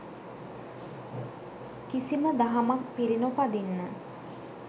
කිසිම දහමක් පිලි නොපදින්න